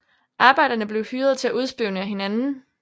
Arbejderne blev hyret til at udspionere hinanden